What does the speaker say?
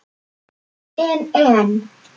En en.